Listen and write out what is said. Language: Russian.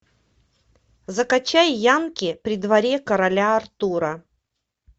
закачай янки при дворе короля артура